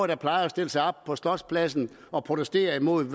der plejer at stille sig op på slotspladsen og protestere imod det